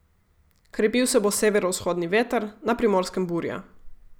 Krepil se bo severovzhodni veter, na Primorskem burja.